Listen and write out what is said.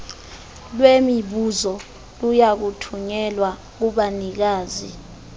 lwemibuzo liyakuthunyelwa kubanikazi